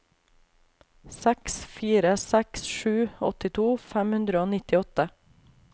seks fire seks sju åttito fem hundre og nittiåtte